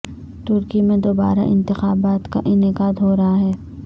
ترکی میں دوبارہ انتخابات کا انعقاد ہو رہا ہے